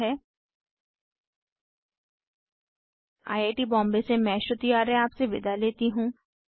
httpspoken tutorialorgNMEICT Intro I I T Bombay से मैं श्रुति आर्य आपसे विदा लेती हूँ